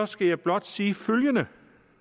skal jeg blot sige følgende